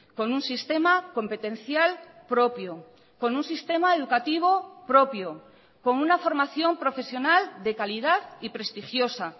con un sistema competencial propio con un sistema educativo propio con una formación profesional de calidad y prestigiosa